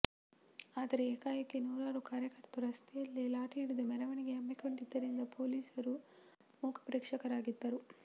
ಆದರೆ ಏಕಾಏಕಿ ನೂರಾರು ಕಾರ್ಯಕರ್ತರು ರಸ್ತೆಯಲ್ಲೇ ಲಾಠಿ ಹಿಡಿದು ಮೆರವಣಿಗೆ ಹಮ್ಮಿಕೊಂಡಿದ್ದರಿಂದ ಪೊಲೀಸರು ಮೂಕಪ್ರೇಕ್ಷಕರಾಗಿದ್ದರು